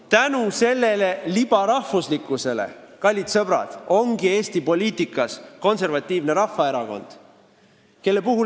Tänu sellele libarahvuslikkusele, kallid sõbrad, ongi Eesti poliitikas Konservatiivne Rahvaerakond.